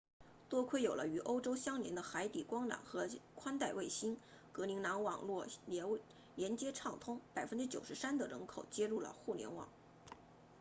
多亏有了与欧洲相连的海底光缆和宽带卫星格陵兰网络连接畅通 93% 的人口接入了互联网